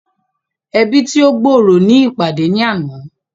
Ẹbi tí o gb'ọrọ ní ìpàdé ní àna